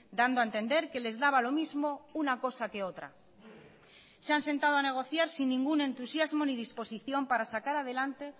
dando a entender que les daba lo mismo una cosa que otra se han sentado a negociar sin ningún entusiasmo ni disposición para sacar adelante